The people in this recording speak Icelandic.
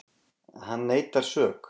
Hann neitar sök